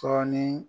Tɔn ni